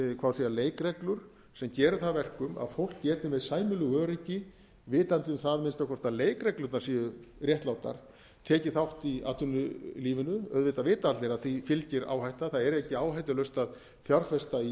á að segja leikreglur sem geri það að verkum að fólk geti með sæmilegu öryggi vitandi um það að minnsta kosti að leikreglurnar séu réttlátar tekið þátt í atvinnulífinu auðvitað vita allir að því fylgir áhætta það er ekki áhættulaust að fjárfesta í